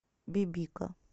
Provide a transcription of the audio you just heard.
бибика